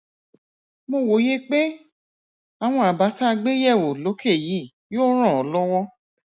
mo wòye pé àwọn àbá tá a gbé yẹwò lókè yìí yóò ràn ọ lọwọ